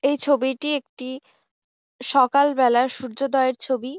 এই ছবিটি একটি সকাল বেলার সূর্যোদয়ের ছবি।